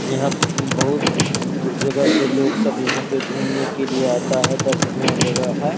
यहाँ बहुत दूर जगह से लोग सब यहाँ पे घूमने के लिए आता है दर्शनीय जगह है।